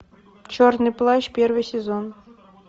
черный плащ первый сезон